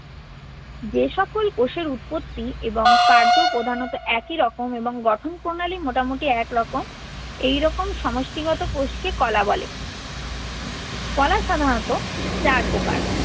যে সকল কোষের উৎপত্তি এবং কার্য প্রধানত একই রকম এবং গঠন প্রণালী মোটামুটি একই রকম এই রকম সমষ্টিগত কোষকে কলা বলে। কলা সাধারণত চার প্রকার।